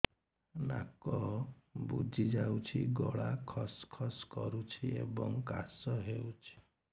ନାକ ବୁଜି ଯାଉଛି ଗଳା ଖସ ଖସ କରୁଛି ଏବଂ କାଶ ହେଉଛି